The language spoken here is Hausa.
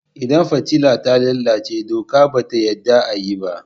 Idan fitila ta lalace doka ba ta yadda a yi.